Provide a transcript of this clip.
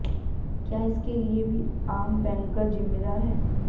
क्या इसके लिए भी आम बैंकर ज़िम्मेदार है